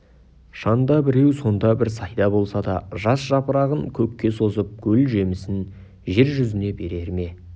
шанда біреу санда бір сайда болса да жас жапырағын көкке созып гүл жемісін жер жүзіне берер ме